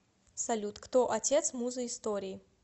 салют кто отец муза истории